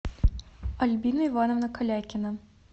альбина ивановна калякина